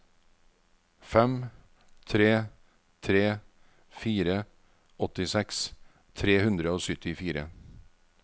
fem tre tre fire åttiseks tre hundre og syttifire